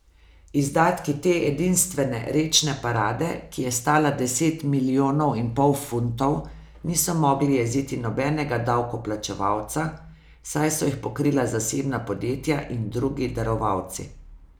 Izdatki te edinstvene rečne parade, ki je stala deset milijonov in pol funtov, niso mogli jeziti nobenega davkoplačevalca, saj so jih pokrila zasebna podjetja in drugi darovalci.